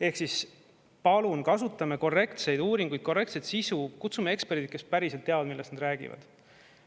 Ehk palun kasutame korrektseid uuringuid, korrektset sisu, kutsume eksperdid, kes päriselt teavad, millest nad räägivad.